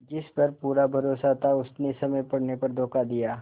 जिस पर पूरा भरोसा था उसने समय पड़ने पर धोखा दिया